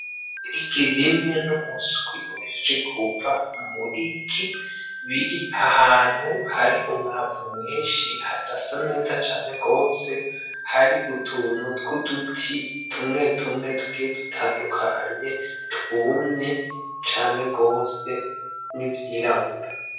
Igi rimwe n'umuswi uhejeje kuva mw'igi, biri ahantu hari umwavu mwinshi hadasa neza cane gose hari utuntu tw'uduti tumwe tumwe tugiye dutandukanye twumye cane gose n'ivyirabura.